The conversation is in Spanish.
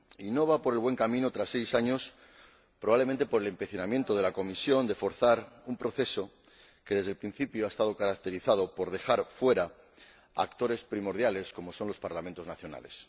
Y no van por el bueno camino, tras seis años, probablemente por el empecinamiento de la Comisión en forzar un proceso que, desde el principio, ha estado caracterizado por dejar fuera a actores primordiales como son los Parlamentos nacionales.